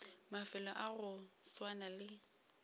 mafelo a go swana le